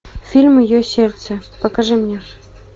фильм мое сердце покажи мне